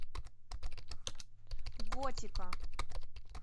готика